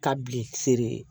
Ka bilen seri